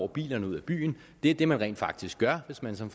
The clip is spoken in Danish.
bilerne ud af byen det er det man rent faktisk gør hvis man som